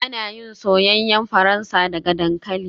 Ana yin soyayyen Faransa daga dankali